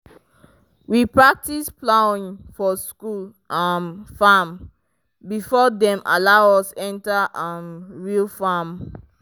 we practice plowing for school um farm before dem allow us enter um real farm.